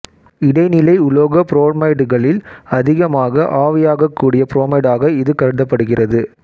இடைநிலை உலோக புரோமைடுகளில் அதிகமாக ஆவியாகக் கூடிய புரோமைடாக இது கருதப்படுகிறது